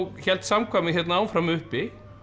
hélt samkvæmið áfram uppi